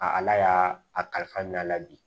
A ala y'a kalifa n'a la bi